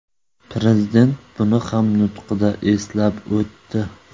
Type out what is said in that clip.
Prezident buni ham nutqida eslab o‘tdi.